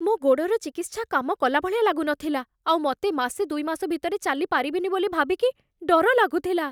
ମୋ' ଗୋଡ଼ର ଚିକିତ୍ସା କାମ କଲା ଭଳିଆ ଲାଗୁନଥିଲା ଆଉ ମତେ ମାସେ ଦୁଇମାସ ଭିତରେ ଚାଲିପାରିବିନି ବୋଲି ଭାବିକି ଡର ଲାଗୁଥିଲା ।